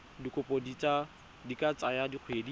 dikopo di ka tsaya dikgwedi